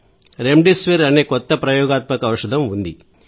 remdesivir అనే కొత్త ప్రయోగాత్మక ఔషధం ఉంది